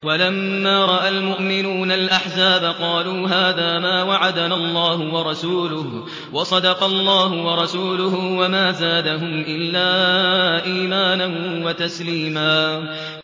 وَلَمَّا رَأَى الْمُؤْمِنُونَ الْأَحْزَابَ قَالُوا هَٰذَا مَا وَعَدَنَا اللَّهُ وَرَسُولُهُ وَصَدَقَ اللَّهُ وَرَسُولُهُ ۚ وَمَا زَادَهُمْ إِلَّا إِيمَانًا وَتَسْلِيمًا